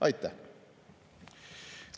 Aitäh!